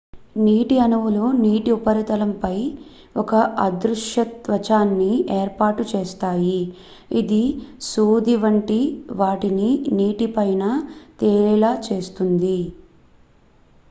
నీటి అణువులు నీటి ఉపరితలంపై ఒక అదృశ్య త్వచాన్ని ఏర్పాటు చేస్తాయి ఇది సూది వంటి వాటిని నీటి పైన తేలేలా చేస్తుంది